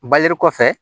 kɔfɛ